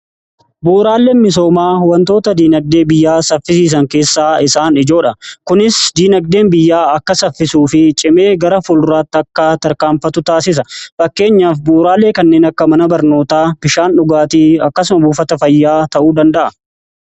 Bu'uraaleen misoomaa wantoota diinagdee biyyaa saffisiisan keessaa isaan ijoodha. Kunis diinagdeen biyyaa akka saffisuu fi cimee gara fulduraatti akka tarkaanfatu taasisa. Fakkeenyaaf bu'uraaleen kanneen akka mana barnootaa bishaan dhugaatii akkasuma buufata fayyaa ta'uu danda'a.